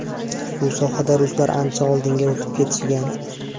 Bu sohada ruslar ancha oldinga o‘tib ketishgan.